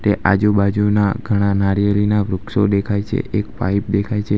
તે આજુબાજુના ઘણા નારિયેળીના વૃક્ષો દેખાય છે એક પાઇપ દેખાય છે.